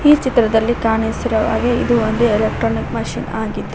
ಈ ಚಿತ್ರದಲ್ಲಿ ಕಾಣಿಸಿರುವ ಹಾಗೆ ಇದು ಒಂದು ಎಲೆಕ್ಟ್ರಾನಿಕ್ ಮಷೀನ್ ಆಗಿದ್ದು --